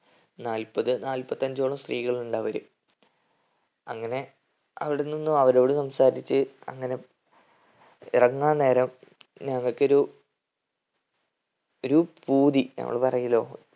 നാല്പത് നാല്പത്തഞ്ചോളം സ്ത്രീകളുണ്ടവര് അങ്ങനെ അവിടെ നിന്നും അവരോട് സംസാരിച്ച് അങ്ങനെ ഇറങ്ങാൻ നേരം നമ്മക്കൊരു ഒരു പൂതി നമ്മൾ പറയുല്ലോ